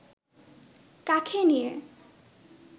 কাঁখে নিয়ে